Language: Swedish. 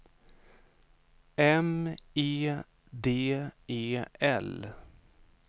M E D E L